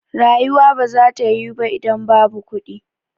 Rayuwa ba za ta yiwu ba idan babu kuɗi